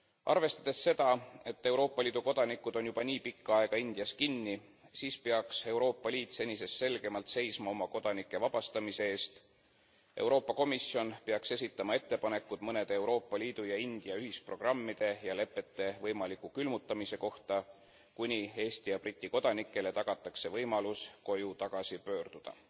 Arvestades seda, et Euroopa Liidu kodanikud on juba nii pikka aega Indias kinni, siis peaks Euroopa Liit senisest selgemalt seisma oma kodanike vabastamise eest. Euroopa Komisjon peaks esitama ettepanekud mõnede Euroopa Liidu ja India ühisprogrammide ja lepete võimaliku külmutamise kohta, kuni Eesti ja Briti kodanikele tagatakse võimalus koju tagasi pöörduda.